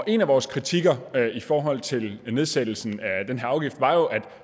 en af vores kritikker i forhold til nedsættelsen af den her afgift var jo at